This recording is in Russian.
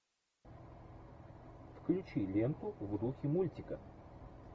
включи ленту в духе мультика